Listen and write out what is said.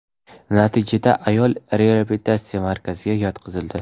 Natijada ayol reabilitatsiya markaziga yotqizildi.